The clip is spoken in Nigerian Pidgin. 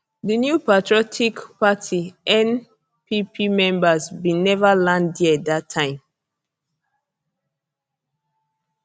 di new patriotic party npp members bin never land dia dat time